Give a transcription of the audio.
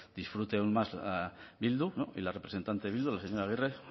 disfrute aún más bildu y la representante de bildu la señora agirre